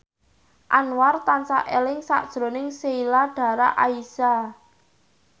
Anwar tansah eling sakjroning Sheila Dara Aisha